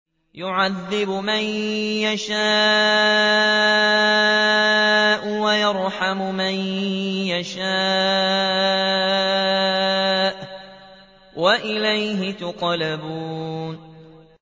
يُعَذِّبُ مَن يَشَاءُ وَيَرْحَمُ مَن يَشَاءُ ۖ وَإِلَيْهِ تُقْلَبُونَ